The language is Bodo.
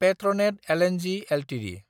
पेट्रनेट लं एलटिडि